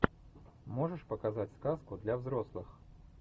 можешь показать сказку для взрослых